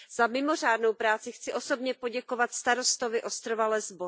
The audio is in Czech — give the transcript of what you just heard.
Za mimořádnou práci chci osobně poděkovat starostovi ostrova Lesbos.